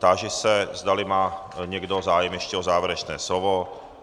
Táži se, zdali má někdo zájem ještě o závěrečné slova.